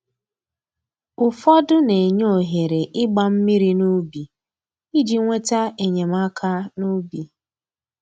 Ụfọdọ na-enye ohere ịgba mmiri n'ubi iji nweta enyemaka n'ubi